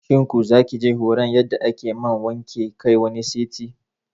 shin ku zakije horan yadda ake man wanke kai wani sati?